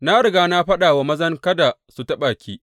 Na riga na faɗa wa mazan kada su taɓa ke.